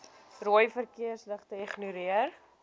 rooi verkeersligte ignoreer